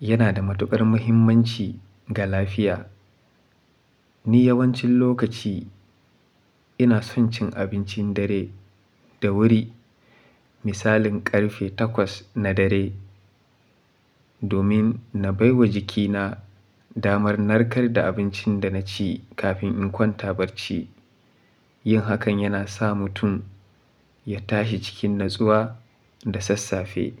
yana da matukar muhimmanci ga lafiya. Ni yawancin lokaci ina son cin abincin dare da wuri, misalin karfe takwas na dare, domin na bai wa jikina damar narkar da abincin da na ci kafin in kwanta barci. Yin hakan yana sa mutum ya tashi cikin natsuwa da sassafe.